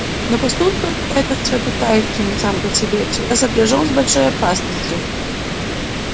но поступок этот святотатственный сам по себе всегда сопряжён с большой опасностью